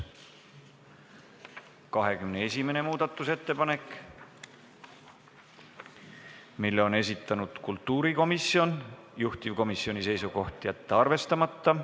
21. muudatusettepaneku on esitanud kultuurikomisjon, juhtivkomisjoni seisukoht: jätta see arvestamata.